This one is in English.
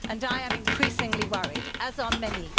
I am increasingly worried, as are many.